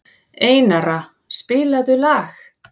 Einara, spilaðu lag.